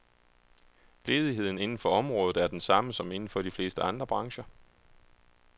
Ledigheden inden for området er den samme, som inden for de fleste andre brancher.